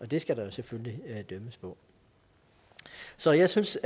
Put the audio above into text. det skal der selvfølgelig dømmes på så jeg synes